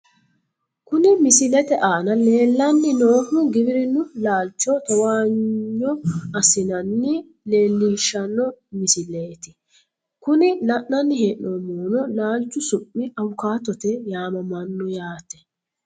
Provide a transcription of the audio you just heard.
Kuni misilete aana leellanni noohu giwirinnu laalcho towaanyo assinana leelishshanno misileeti .kuni la'nanni hee'noonihuno laalchu su'mi awukaatote yaamamanno yaate .